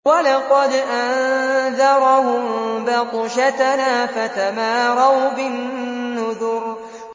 وَلَقَدْ أَنذَرَهُم بَطْشَتَنَا فَتَمَارَوْا بِالنُّذُرِ